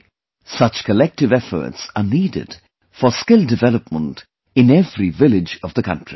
Today, such collective efforts are needed for skill development in every village of the country